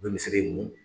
U bɛ misiri in mun